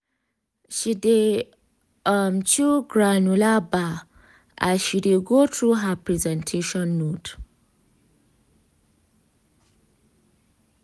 she dey um chew granola bar as she dey go through her presentation note.